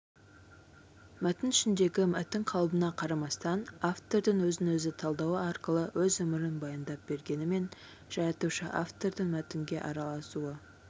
мәтін ішіндегі мәтін қалыбына қарамастан автордың өзін-өзі талдауы арқылы өз өмірін баяндап бергенімен жаратушы-автордың мәтінге араласуы